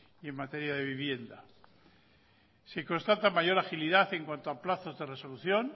y en materia de vivienda se constata mayor agilidad en cuanto a plazos de resolución